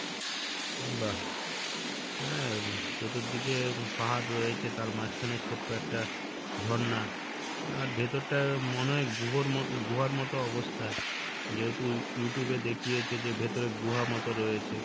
বাহ হ্যাঁ চতুর্দিকে পাহাড় রয়েছে তার মাঝখানে ছোট্ট একটা ঝর্ণা আর ভেতরটা মনে হয় গুহোর ম~ গুহার মতো অবস্থা যেহেতু You~ Youtube এ দেখিয়েছে যে ভেতরে গুহার মতো রয়েছে,